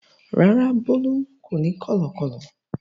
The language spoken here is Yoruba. Rárá, Bólú kò ní kọ̀lọ̀kọ́lọ̀.